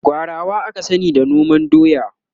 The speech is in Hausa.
gwarawa aka sani da noman doya